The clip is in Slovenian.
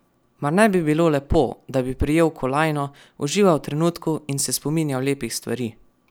Mar ne bi bilo lepo, da bi prijel kolajno, užival v trenutku in se spominjal lepih stvari?